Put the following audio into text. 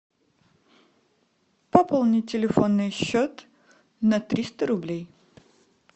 пополнить телефонный счет на триста рублей